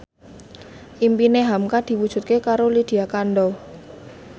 impine hamka diwujudke karo Lydia Kandou